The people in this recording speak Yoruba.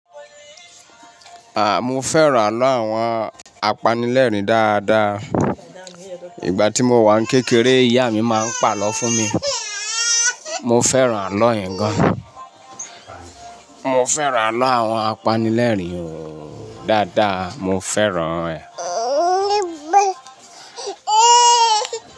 A! Mo fẹ́ràn àlọ́ àwọn apanilẹ́rìn dáadáa. Ìgbà tí mo wà ní kékeré, ìyá mi máa ń pàlọ́ fún mi. Mo fẹ́ràn àlọ́ yen gan. Mo fẹ́ràn àlọ́ àwọn apanilẹ́rìn o dáadáa, mo fẹ́ràn rẹ̀